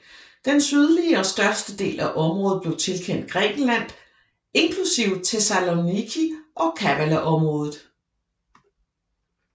Den sydlige og største del af området blev tilkendt Grækenland inklusive Thessaloniki og Kavalaområdet